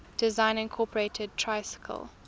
design incorporated tricycle